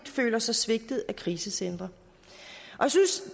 føler sig svigtet af krisecentre jeg synes